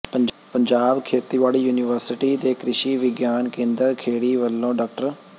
ਪੰਜਾਬ ਖੇਤੀਬਾੜੀ ਯੂਨੀਵਰਸਿਟੀ ਦੇ ਕਿ੍ਸ਼ੀ ਵਿਗਿਆਨ ਕੇਂਦਰ ਖੇੜੀ ਵੱਲੋਂ ਡਾ